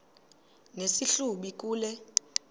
nesi hlubi kule